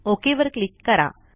okay वर click करा